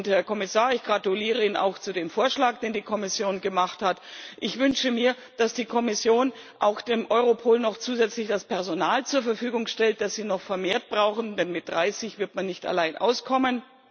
Herr Kommissar, ich gratuliere Ihnen auch zu dem Vorschlag, den die Kommission gemacht hat. Ich wünsche mir, dass die Kommission auch Europol noch zusätzlich das Personal zur Verfügung stellt, das die Behörde noch vermehrt braucht, denn allein mit 30 wird man nicht auskommen.